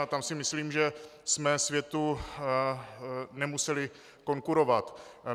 A tam si myslím, že jsme světu nemuseli konkurovat.